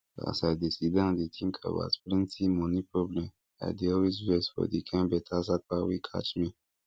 as i dey sit down dey tink about plenty moni problemi I dey always vex for di kind beta sapa wey catch me